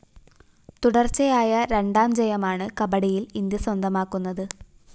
തുടര്‍ച്ചയായ രണ്ടാം ജയലമാണ് കബഡിയില്‍ ഇന്ത്യ സ്വന്തമാക്കുന്നത്